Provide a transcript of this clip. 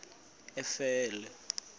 efele